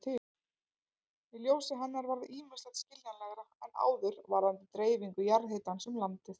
Í ljósi hennar varð ýmislegt skiljanlegra en áður varðandi dreifingu jarðhitans um landið.